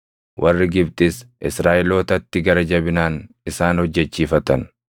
Warri Gibxis Israaʼelootatti gara jabinaan isaan hojjechiifatan.